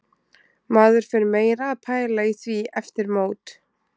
Maður fer meira að pæla í því eftir mót.